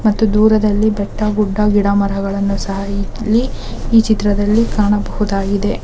ಮತ್ತು ದೂರದಲ್ಲಿ ಬೆಟ್ಟ ಗುಡ್ಡ ಗಿಡ ಮರಗಳನ್ನು ಸಹ ಇಲ್ಲಿ ಈ ಚಿತ್ರದಲ್ಲಿ ಕಾಣಬಹುದಾಗಿದೆ.